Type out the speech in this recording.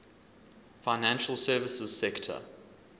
financial services sector